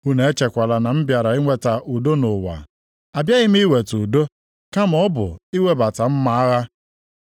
“Unu echekwala na m bịara iweta udo nʼụwa. Abịaghị m iweta udo, kama ọ bụ iwebata mma agha.